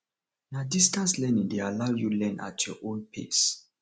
na distance learning dey allow you learn at your own pace